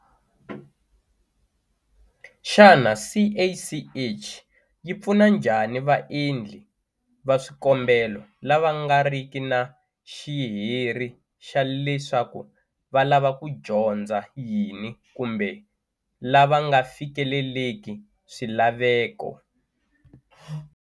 Xana CACH yi pfuna njhani vaendli va swikombelo lava nga riki na xiheri xa leswaku va lava ku dyondza yini kumbe lava nga fikeleleki swilaveko?